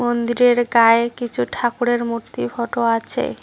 মন্দিরের গায়ে কিছু ঠাকুরের মূর্তি ফোটো আছে।